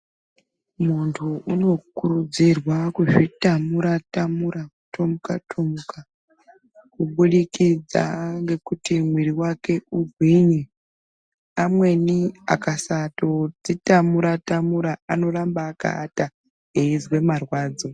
Muntu unokurudzirwa kuzvitamura-tamura, kutomuka-tomuka kubudikidza ngekuti mwiiri wake ugwinye. Amweni akasazodzitamura-tamura anorambe akaata, eizwe marwadzo.